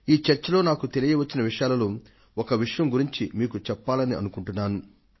ఈ చర్చలో నాకు తెలియవచ్చిన విషయాలలో ఒక విషయం గురించి మీకు చెప్పాలనుకుంటున్నాను